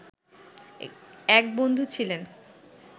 এক বন্ধু ছিলেন